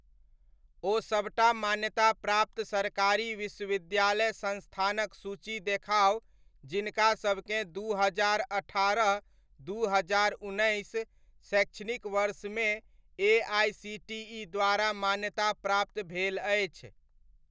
ओ सबटा मान्यता प्राप्त सरकारी विश्वविद्यालय संस्थानक सूची देखाउ, जिनका सबकेँ दू हजार अठारह, दू हजार उन्नैस शैक्षणिक वर्ष मे एआइसीटीइ द्वारा मान्यताप्राप्त भेल अछि।